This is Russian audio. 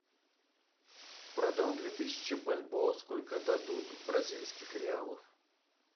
продам две тысячи бальбоа сколько дадут бразильских реалов